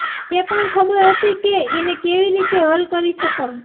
એ પણ ખબર હતી કે એને કેવી રીતે હલ કરી શકાય